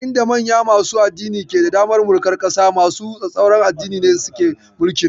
A inda manya masu addini ke da damar mulkar ƙasa, masu tsatstsauran addini ne suke mulkin.